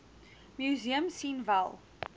museum sien wel